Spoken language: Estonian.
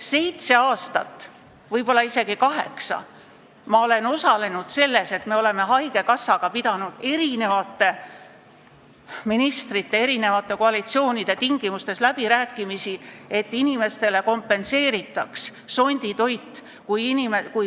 Seitse aastat, võib-olla isegi kaheksa, ma olen osalenud selles, et me oleme haigekassaga pidanud erinevate ministrite, erinevate koalitsioonide ajal läbirääkimisi, et inimestele kompenseeritaks sonditoit.